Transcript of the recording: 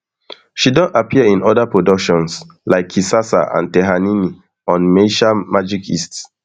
she don appear in oda productions like kisasa and tehanini on maisha magic east